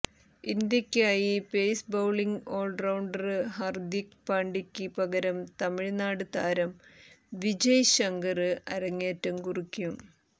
ഇന്ത്യയ്ക്കായി pace bowling all rounder Hardik പാണ്ഡ്യയ്ക്ക് പകരം തമിഴ്നാട് താരം വിജയ് ശങ്കര് അരങ്ങേറ്റം കുറിക്കും